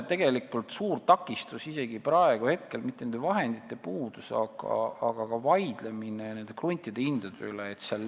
Tegelikult on isegi praegu suur takistus mitte vahendite puudus, vaid vaidlemine nende kruntide hindade üle.